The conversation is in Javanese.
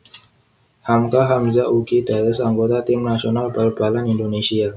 Hamka Hamzah ugi dados anggota tim nasional bal balan Indonésia